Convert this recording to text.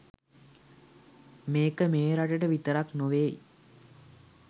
මේක මේ රටට විතරක් නොවෙය්